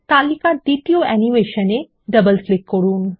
তালিকার দ্বিতীয় অ্যানিমেশন এ ডাবল ক্লিক করুন